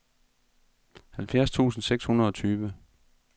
halvfjerds tusind seks hundrede og tyve